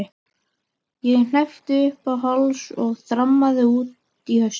Ég hneppti upp í háls og þrammaði út í haustið.